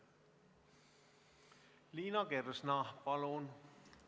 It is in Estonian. Liina Kersna, palun!